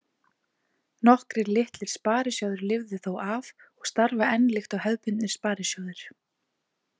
Nokkrir litlir sparisjóðir lifðu þó af og starfa enn líkt og hefðbundnir sparisjóðir.